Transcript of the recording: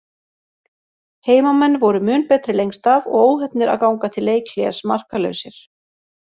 Heimamenn voru mun betri lengst af og óheppnir að ganga til leikhlés markalausir.